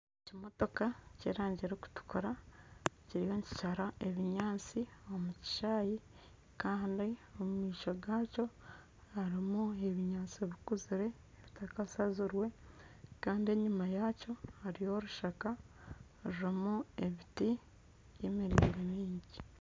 Ekimotoka ky'erangi erikutukura kiriyo nikishara ebinyaatsi omu kishaayi kandi omu maisho gaakyo harimu ebinyaatsi bikuzire bitakashazirwe kandi enyima yaakyo hariyo orushaka rurimu ebiti by'emiringo mingi